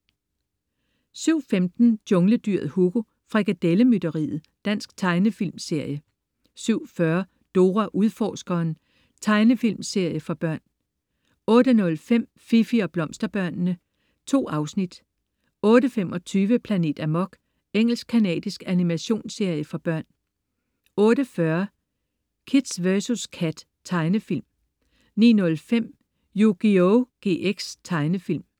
07.15 Jungledyret Hugo. Frikadelle mytteriet. Dansk tegnefilmserie 07.40 Dora Udforskeren. Tegnefilmserie for børn 08.05 Fifi og Blomsterbørnene. Animationsserie for børn. 2 afsnit 08.25 Planet Amok. Engelsk-canadisk animationsserie for børn 08.40 Kid vs Kat. Tegnefilm 09.05 Yugioh GX. Tegnefilm